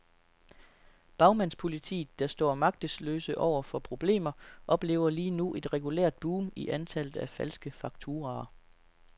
Bagmandspolitiet, der står magtesløse over for problemer, oplever lige nu et regulært boom i antallet af falske fakturaer.